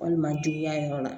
Walima juguya yɔrɔ la